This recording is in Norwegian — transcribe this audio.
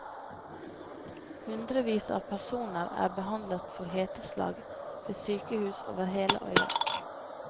Hundrevis av personer er behandlet for heteslag ved sykehus over hele øya.